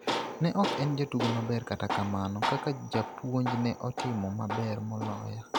Ne ok en jatugo maber, kata kamano kaka japuonj ne otimo maber moloya.